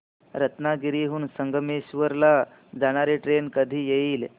रत्नागिरी हून संगमेश्वर ला जाणारी ट्रेन कधी येईल